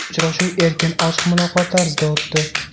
Uchrashuv erkin, ochiq muloqot tarzida o‘tdi.